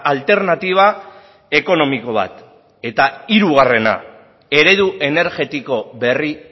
alternatiba ekonomiko bat eta hirugarrena eredu energetiko berri